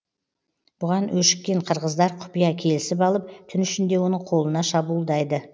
бұған өшіккен қырғыздар құпия келісіп алып түн ішінде оның қолына шабуылдайды